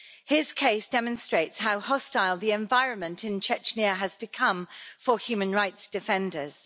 His case demonstrates how hostile the environment in Chechnya has become for human rights defenders.